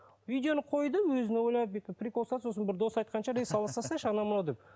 видеоны қойды өзін ойлады бүйтіп прикол ұстады сосын бір досы айтқан шығар ей сала салсайшы анау мынау деп